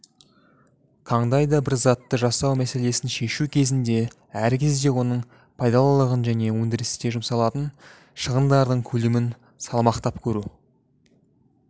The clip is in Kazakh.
қандайда бір затты жасау мәселесін шешу кезінде әр кезде оның пайдалылығын және өндірісте жұмсалатын шығындардың көлемін салмақтап көру